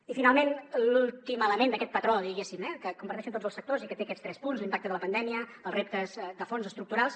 i finalment l’últim element d’aquest patró diguéssim eh que comparteixen tots els sectors i que té aquests tres punts l’impacte de la pandèmia els reptes de fons estructurals